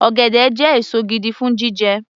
Ọ̀gẹ̀dẹ̀ jẹ́ èso gidi fún jíjẹ